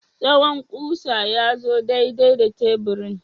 Tsawon ƙusa ya zo daidai da teburin?